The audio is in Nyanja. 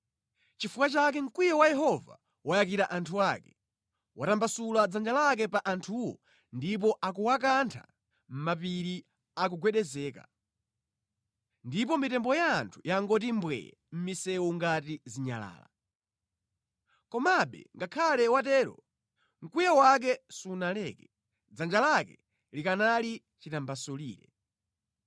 Nʼchifukwa chake mkwiyo wa Yehova wayakira anthu ake; watambasula dzanja lake pa anthuwo ndipo akuwakantha Mapiri akugwedezeka, ndipo mitembo ya anthu yangoti mbwee mʼmisewu ngati zinyalala. Komabe ngakhale watero, mkwiyo wake sunaleke, dzanja lake likanali chitambasulire;